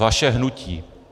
Vaše hnutí.